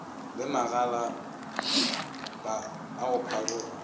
le magalapa a go pharoga